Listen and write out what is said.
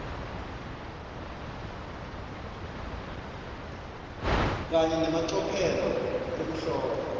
kanye nemacophelo ekuhlola